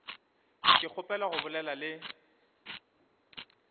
ke kgopela go bolela le